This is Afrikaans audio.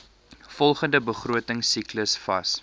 volgende begrotingsiklus vas